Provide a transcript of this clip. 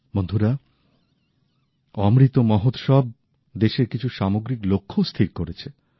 বন্ধুরা অমৃত মহোৎসব দেশের কিছু সামগ্রিক লক্ষ্যও স্থির করেছে